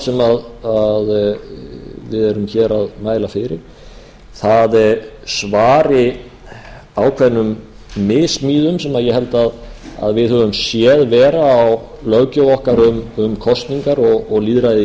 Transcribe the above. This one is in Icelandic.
sem við erum hér að mæla fyrir svari ákveðnum missmíðum sem ég held að við höfum séð vera á löggjöf okkar um kosningar og lýðræðið í